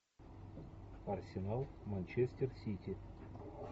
арсенал манчестер сити